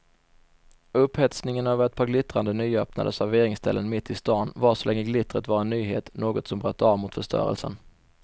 Upphetsningen över ett par glittrande nyöppnade serveringsställen mitt i stan varade så länge glittret var en nyhet, något som bröt av mot förstörelsen.